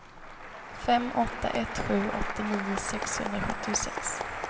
fem åtta ett sju åttionio sexhundrasjuttiosex